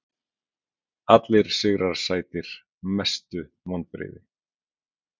Allir sigrar sætir Mestu vonbrigði?